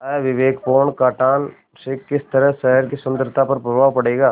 अविवेकपूर्ण कटान से किस तरह शहर की सुन्दरता पर प्रभाव पड़ेगा